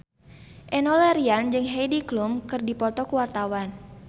Enno Lerian jeung Heidi Klum keur dipoto ku wartawan